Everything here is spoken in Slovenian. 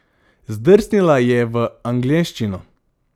Zdrsnila je v angleščino.